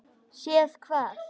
Séð hvað?